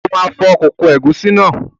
O ma fọ kókó ègúsí náà.